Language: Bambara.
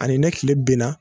Ani ne tile benna